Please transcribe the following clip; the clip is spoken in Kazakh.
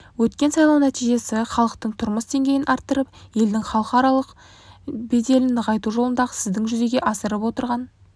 өткен сайлау нәтижесі халықтың тұрмыс деңгейін арттырып елдің халықаралық беделін нығайту жолындағы сіздің жүзеге асырып отырған